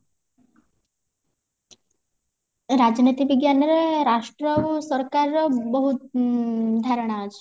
ରାଜନୀତି ବିଜ୍ଞାନରେ ରାଷ୍ଟ୍ରରୁ ସରକାର ଉଁ ବହୁତ ଧାରଣା ଅଛି